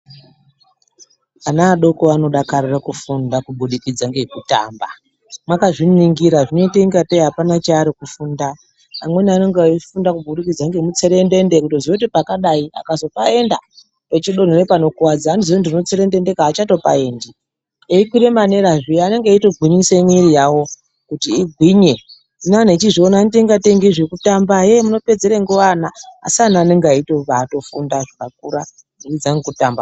Ana adoko anodakarira kufunda kubudikidza ngekutamba, makazviningira zvinoite ngatei apana chaari kufunda. Amweni anenge eifunda kuburikidza ngemutserendende kutoziya kuti pakadai akazopaenda echodonhere panorwadza anoziya kuti dinotserendendeka aachatopaendi, eikwire manera zviya anenge eitogwinyisa mwiri yawo kuti igwinye. Hino antu echizviona anoite ngatei ngezvekutamba hee munopedzerei nguwa ana asi anhu anenge eitofunda zvakakura kubudikidza ngekutamba.